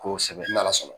Kosɛbɛ n'ala sɔnna